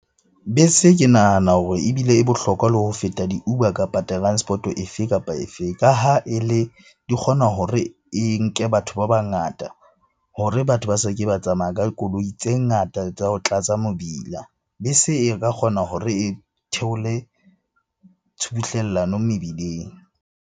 Bese ke nahana hore ebile e bohlokwa le ho feta di-Uber, kapa transport-o efe kapa efe? Ka ha e le, di kgona hore e nke batho ba bangata hore batho ba se ke ba tsamaya ka koloi tse ngata tsa ho tlatsa mebila. Bese e ka kgona hore e theole tshubuhlellano mebileng.